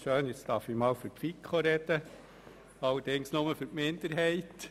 Schön, dass ich einmal für die FiKo sprechen darf, allerdings nur für die Minderheit.